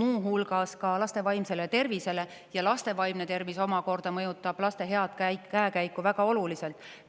muu hulgas laste vaimsele tervisele, ja laste vaimne tervis omakorda mõjutab laste head käekäiku väga oluliselt.